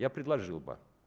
я предложил бы